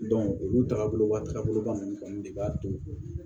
olu tagabolo ka taga boloba nunnu kɔni de b'a to